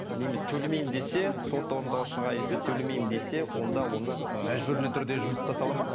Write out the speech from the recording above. төлемеймін десе сот орындаушыға если төлемеймін десе онда оны ыыы мәжбүрлі түрде жұмысқа салады ма